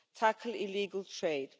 States tackle illegal